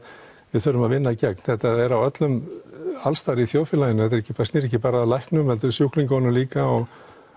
við þurfum að vinna gegn þetta er alls staðar í þjóðfélaginu þetta snýr ekki bara að læknum heldur sjúklingunum líka og